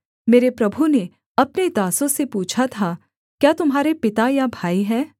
मेरे प्रभु ने अपने दासों से पूछा था क्या तुम्हारे पिता या भाई हैं